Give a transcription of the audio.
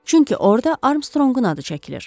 Çünki orda Armstrongun adı çəkilir.